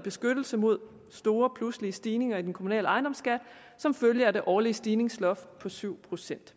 beskyttelse mod store pludselige stigninger i den kommunale ejendomsskat som følge af det årlige stigningsloft på syv procent